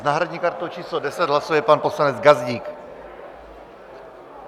S náhradní kartou číslo 10 hlasuje pan poslanec Gazdík.